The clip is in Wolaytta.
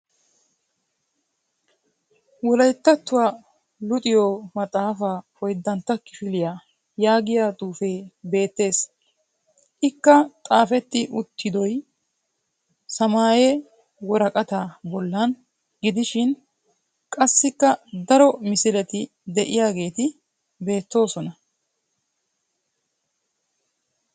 "Wolayittattuwa luxiyo maxxaafaa oyiddantta kifiliya" yaagiya xuufee beettes. Ikka xaafetti uttidoy samaaye woraqataa bollan gidishin qassikka daro misileti diyageeti beettoosona.